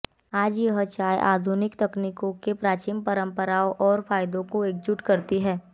आज यह चाय आधुनिक तकनीकों के प्राचीन परंपराओं और फायदों को एकजुट करती है